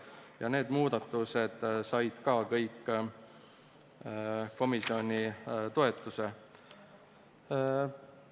Kõik need muudatused said ka komisjoni toetuse.